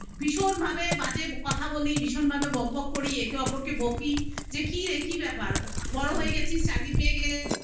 ভীষণ ভাবে বাজে কথা বলি ভীষণ ভাবে বকবক করি একে অপরকে বকি যে কি একি ব্যাপার বড় হয়ে গেছিস চাকরি পেয়ে